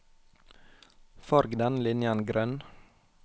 Farg denne linjen grønn